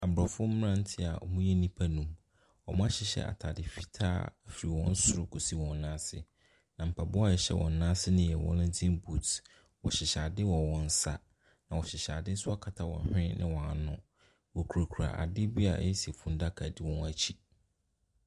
Aborɔfo mmeranteɛ a wɔyɛ nnipa nnum, wɔahyehyɛ ataade fitaa fi wɔn soro kɔsi wɔn nan ase, na mpaboa a ɛhyɛ wɔn nan ase no yɛ wellington boot. Wɔhyehyɛ ade wɔ wɔn nsa, na wɔhyehyɛ ade wɔ wɔn hwen ne wɔn ano. Wɔkurakura ade bi a ayɛ sɛ funudaka di wɔn akyi.